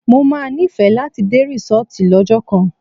Mo má nífẹ̀ẹ́ láti dé rísọ́tì lọ́jọ́ kan.